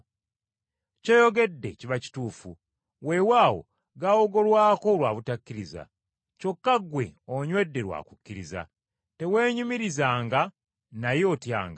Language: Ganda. Ky’oyogedde kiba kituufu. Weewaawo gaawogolwako lwa butakkiriza, kyokka ggwe onywedde lwa kukkiriza. Teweenyumirizanga, naye otyanga.